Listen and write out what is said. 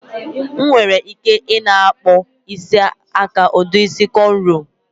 Nwere ike na-akpọ isi aka ụdị isi kọnrọ